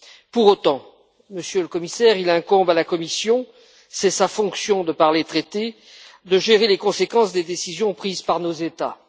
Pour autant, Monsieur le Commissaire, il incombe à la Commission c'est sa fonction de par les traités de gérer les conséquences des décisions prises par nos États.